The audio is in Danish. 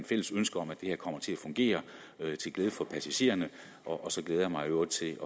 fælles ønske om at det her kommer til at fungere til glæde for passagererne og så glæder jeg mig i øvrigt til